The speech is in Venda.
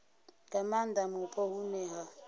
nga maanda mupo hune ha